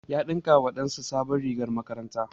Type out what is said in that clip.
Ya ɗinka wa ɗan sa sabon rigar makaranta